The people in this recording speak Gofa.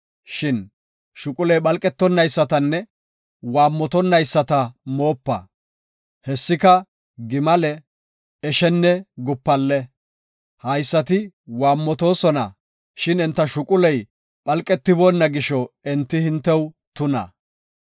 Shin shuquley phalqetonaysatanne waammotonnayisata moopa; hessika gimale, eshenne gupalle. Haysati waammotoosona, shin enta shuquley phalqetiboona gisho, enti hintew tuna.